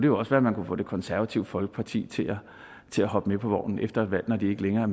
jo også være man kunne få det konservative folkeparti til at hoppe med på vognen efter et valg når de ikke længere